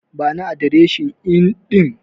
Bani adireshin Inn ɗin.